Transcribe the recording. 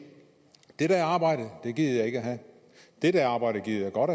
det der arbejde gider jeg ikke have det der arbejde gider jeg godt